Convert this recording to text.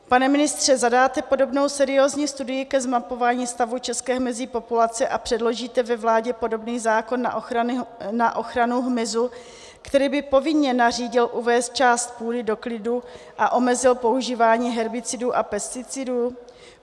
Pane ministře, zadáte podobnou seriózní studii ke zmapování stavu české hmyzí populace a předložíte ve vládě podobný zákon na ochranu hmyzu, který by povinně nařídil uvést část půdy do klidu a omezil používání herbicidů a pesticidů?